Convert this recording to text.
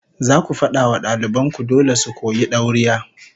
Zaku fada wa daliban ku dole su koyi dauriya